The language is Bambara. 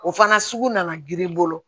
O fana sugu nana girin bolo